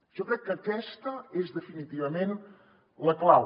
jo crec que aquesta és definitivament la clau